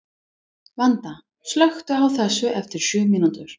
Vanda, slökktu á þessu eftir sjö mínútur.